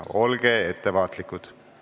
Olge ettevaatlikud!